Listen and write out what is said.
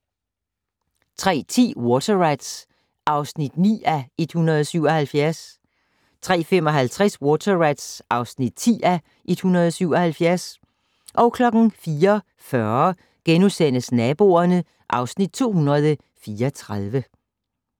03:10: Water Rats (9:177) 03:55: Water Rats (10:177) 04:40: Naboerne (Afs. 234)*